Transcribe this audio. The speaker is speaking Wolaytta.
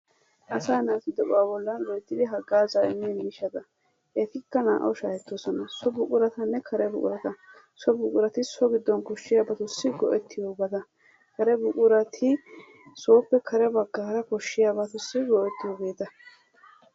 Asaa natu de'uwaa bolani loyttidi hagaza emmenna mishaatta, ettikaa nawu shahetosonna, hegettikaa kare buquratanne so buquratta, soo buquratti so giddon koshiyabatussi go'ettiyobattaa, kare buquraati soppe karee bagaara koshiyabatusi go'etiyobattaa.